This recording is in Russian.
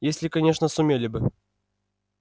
если конечно сумели бы